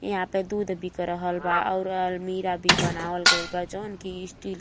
यहाँ पे दूध बिक रहल बा और अल्मिराह भी बनावल गईल बा जऊन की स्टील --